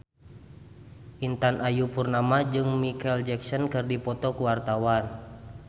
Intan Ayu Purnama jeung Micheal Jackson keur dipoto ku wartawan